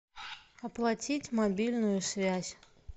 оплатить мобильную связь